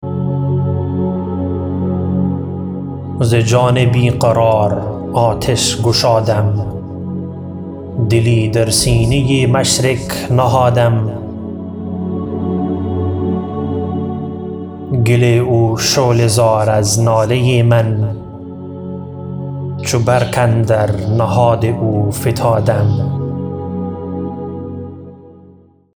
ز جان بیقرار آتش گشادم دلی در سینه مشرق نهادم گل او شعله زار از ناله من چو برق اندر نهاد او فتادم